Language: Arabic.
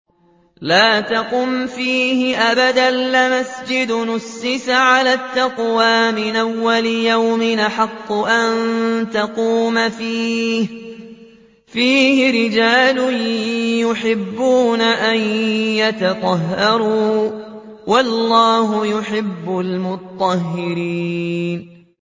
لَا تَقُمْ فِيهِ أَبَدًا ۚ لَّمَسْجِدٌ أُسِّسَ عَلَى التَّقْوَىٰ مِنْ أَوَّلِ يَوْمٍ أَحَقُّ أَن تَقُومَ فِيهِ ۚ فِيهِ رِجَالٌ يُحِبُّونَ أَن يَتَطَهَّرُوا ۚ وَاللَّهُ يُحِبُّ الْمُطَّهِّرِينَ